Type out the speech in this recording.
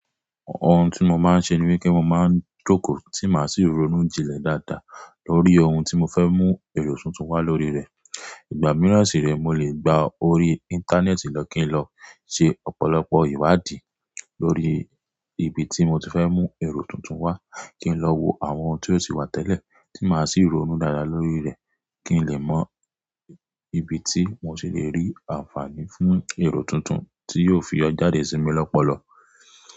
Ohun tí mo máa ń ṣe ni wipé mo máa ń jókòó tí màá sì ronú jinlẹ̀ dáadáa lórí ohun tí mo fẹ́ mú èrò tuntun wá lórí rẹ̀. Ìgbà mìíràn sì rẹ, mo lè gba orí Íńtánẹ́ẹ̀tì lọ kí n lọ ṣe ọ̀pọ̀lọpọ̀ ìwádìí lórí ibi tí mo ti fẹ́ mú èrò tuntun wá, kí n lọ wo àwọn tí ó ti wà tẹ́lẹ̀ tí màá sì ronú dáadáa lórí rẹ̀ kí n lè mọ ibi tí mo sì le rí ànfààní fún èrò tuntun tí yóò fi yo jàdé sí mi lọ́pọ̀lọpọ̀.